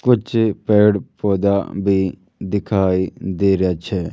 कुछ पेड़ पौधा भी दिखाई दे रहा छे।